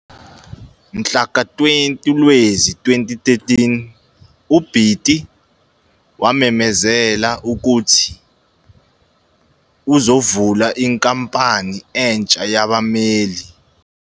Mhlaka 20 Lwezi 2013, uBiti wamemezela ukuthi uzavula inkampani entsha yabameli.